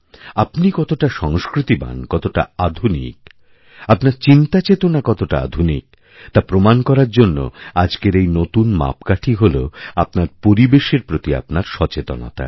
আপনি কতটাসংস্কৃতিবান কতটা আধুনিক আপনার চিন্তাচেতনা কতটা আধুনিক তা প্রমাণ করার জন্যআজকের এই নতুন মাপকাঠি হল আপনার পরিবেশের প্রতি আপনার সচেতনতা